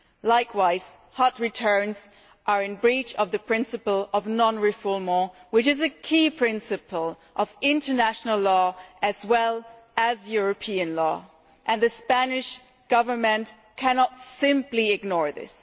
Likewise, hot returns' are in breach of the principle of non refoulement, which is a key principle of international law as well as of European law, and the Spanish Government cannot simply ignore this.